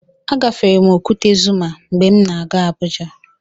Agafere m Okwute Zuma mgbe m na-aga Abuja.